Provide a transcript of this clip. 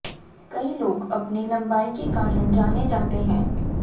कई लोग अपनी लम्बाई के कारण जाने जाते है